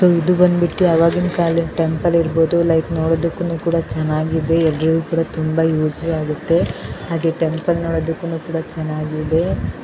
ಇದು ಬಂದ್ ಬಿಟ್ಟು ಆಗಿನ ಕಾಲದ ಟೆಂಪಲ್ ಇರಬಹುದು ಲೈಕ್ ನೋಡೋದಕ್ಕೂ ಕೂಡ ಚೆನ್ನಾಗಿದೆ ಎಲ್ಲರಿಗೂ ಕೂಡ ತುಂಬಾ ಯೂಸ್ ಆಗುತ್ತೆ ಟೆಂಪಲ್ ನೋಡೋದಕ್ಕೂನು ಕೂಡ ಚೆನ್ನಾಗಿದೆ.